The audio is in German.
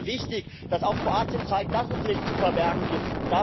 Es wäre sehr wichtig, dass auch Kroatien zeigt, dass es nichts zu verbergen gibt.